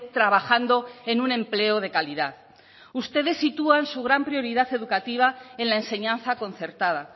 trabajando en un empleo de calidad ustedes sitúan su gran prioridad educativa en la enseñanza concertada